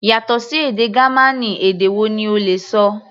Yàtọ̀ sí èdè Gamaní, èdè wo ni o lè ṣọ?